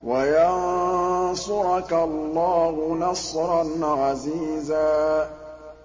وَيَنصُرَكَ اللَّهُ نَصْرًا عَزِيزًا